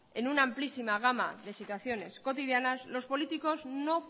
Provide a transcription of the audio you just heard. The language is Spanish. en una amplísima gama de situaciones cotidianas los políticos no